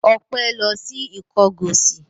Ọpẹ́ lọ sí Ìkọgọ̀sì?